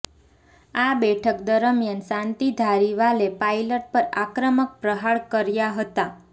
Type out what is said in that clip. આ બેઠક દરમિયાન શાંતિ ધારીવાલે પાયલટ પર આક્રમક પ્રહારો કર્યા હતા